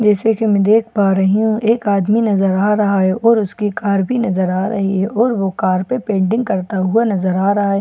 जैसे कि मैं देख पा रही हूं एक आदमी नजर आ रहा है और उसकी कार भी नजर आ रही है और वह कार पे पेंटिंग करता हुआ नजर आ रहा है --